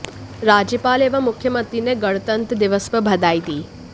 राज्यपाल एवं मुख्यमंत्री ने गणतंत्र दिवस पर बधाई दी